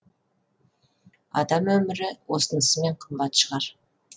адам өмірі осынысымен қымбат шығар